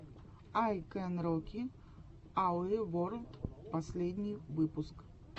ай кэн роки ауэ ворлд последний выпуск